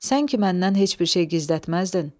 Sən ki məndən heç bir şey gizlətməzdin.